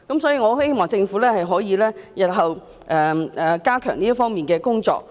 所以，我希望政府日後可以加強這方面的工作。